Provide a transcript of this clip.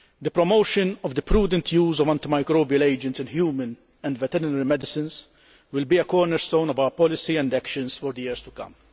The promotion of the prudent use of antimicrobial agents in human and veterinary medicines will be a cornerstone of our policy and actions for the years to come.